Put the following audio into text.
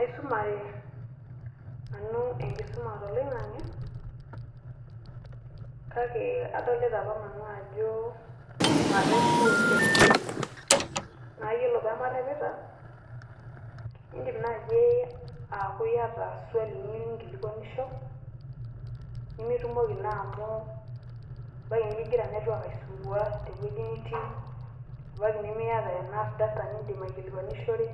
Aisumare nanu enkisuma to loing'ang'ye, kaki adolita apa nanu ajo mareep doo oleng. Naa aiyeloo pee marepita idiim najei aku iata swaali niyeu ninkilikwanisho nimitumoki naa amu abaki nikigiraa network aisumbua tewueji nitii abaki nimiita enough data niidim akilikwanishore.